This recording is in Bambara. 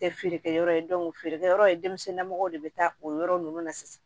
Tɛ feerekɛyɔrɔ ye feerekɛyɔrɔ ye denmisɛnninlamɔgɔ de bɛ taa o yɔrɔ ninnu na sisan